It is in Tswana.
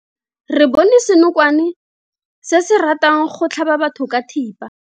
Re bone senokwane se se ratang go tlhaba batho ka thipa.